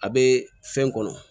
A bɛ fɛn kɔnɔ